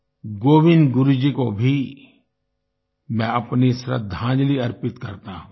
गोविन्द गुरु जी को भी मैं अपनी श्रद्दांजलि अर्पित करता हूँ